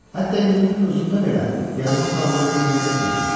Hətta indinin özündə belə yadıma salanda gülməyə bilmirəm.